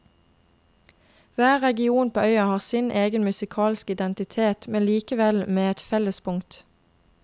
Hver region på øya har sin egen musikalske identitet, men likevel med et fellespunkt.